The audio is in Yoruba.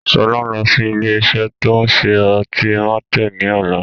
Sọlá ń lọ sí ilé isẹ́ ti o ń ṣe ọtí Martel ni ọ̀la